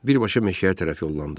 Birbaşa meşəyə tərəf yollandı.